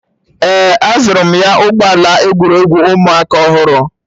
Ee, azụrụ m ya ụgbọ ala egwuregwu ụmụaka ọhụrụ